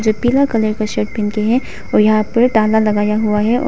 ये पीला कलर का शर्ट पहन के है और यहां पर ताला लगाया हुआ है और--